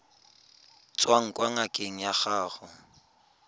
tswang kwa ngakeng ya gago